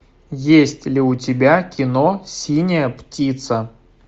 есть ли у тебя кино синяя птица